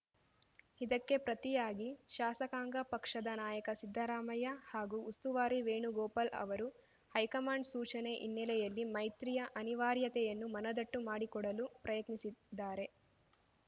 ಇದಕ್ಕೆ ಪ್ರತಿಯಾಗಿ ಶಾಸಕಾಂಗ ಪಕ್ಷದ ನಾಯಕ ಸಿದ್ದರಾಮಯ್ಯ ಹಾಗೂ ಉಸ್ತುವಾರಿ ವೇಣುಗೋಪಾಲ್‌ ಅವರು ಹೈಕಮಾಂಡ್‌ ಸೂಚನೆ ಹಿನ್ನೆಲೆಯಲ್ಲಿ ಮೈತ್ರಿಯ ಅನಿವಾರ್ಯತೆಯನ್ನು ಮನದಟ್ಟು ಮಾಡಿಕೊಡಲು ಯತ್ನಿಸಿದ್ದಾರೆ